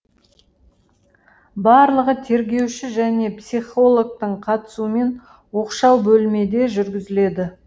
барлығы тергеуші және психологтың қатысуымен оқшау бөлмеде жүргізіледі